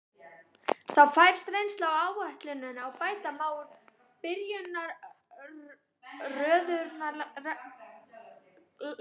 Þá fæst reynsla á áætlunina og bæta má úr byrjunarörðugleikum.